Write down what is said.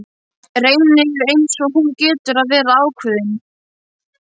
Reynir eins og hún getur að vera ákveðin.